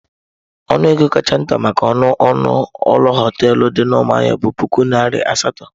Ọnụ ego kacha nta maka ọnụ ụlọ hoteelu dị na Umuahia bụ puku naira asatọ.